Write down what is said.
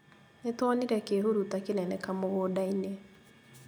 Nĩtuonire kĩhuruta kĩnene kamũgũnda-inĩ